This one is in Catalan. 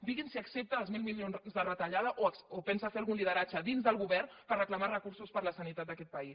digui’ns si accepta els mil milions de retallada o pensa fer algun lideratge dins del govern per reclamar recursos per a la sanitat d’aquest país